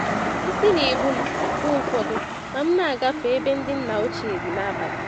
Isi n'ebum mgbe ụfọdụ ma m na-agafe ebe ndị nna ochie dị n'abalị.